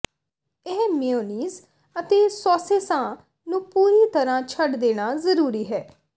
ਇਹ ਮੇਅਨੀਜ਼ ਅਤੇ ਸੌਸੇਸਾਂ ਨੂੰ ਪੂਰੀ ਤਰਾਂ ਛੱਡ ਦੇਣਾ ਜ਼ਰੂਰੀ ਹੈ